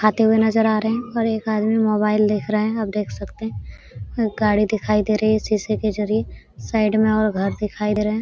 खाते हुए नजर आ रहे हैं और एक आदमी मोबाइल देख रहे हैं आप देख सकते हैं गाड़ी दिखाई दे रहे हैं शीशे के जरिए साइड में और घर दिखाई दे रहे हैं ।